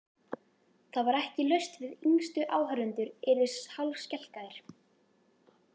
Það var ekki laust við að yngstu áhorfendurnir yrðu hálfskelkaðir.